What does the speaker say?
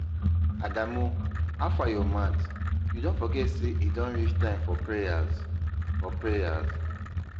Adamu, howfar your mat? You don forget say e don reach time for prayers. for prayers.